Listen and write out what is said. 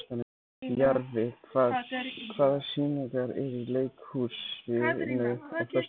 Jarfi, hvaða sýningar eru í leikhúsinu á föstudaginn?